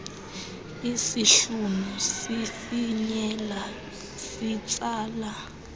isihlunu sifinyela sitsala